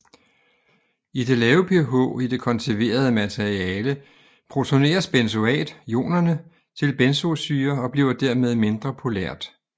I det lave pH i det konserverede materiale protoneres benzoat ionerne til benzoesyre og bliver dermed mindre polært